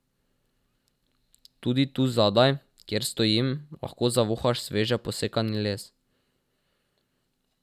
Tudi tu zadaj, kjer stojim, lahko zavohaš sveže posekani les.